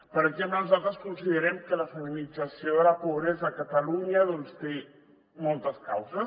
per exemple nosaltres considerem que la feminització de la pobresa a catalunya doncs té moltes causes